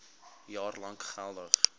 jaar lank geldig